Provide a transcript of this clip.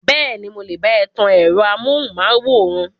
Bẹ́ẹ̀ni, mo lè bá ẹ tan ẹ̀rọ amóhùnmáwòrán.